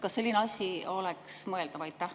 Kas selline asi oleks mõeldav?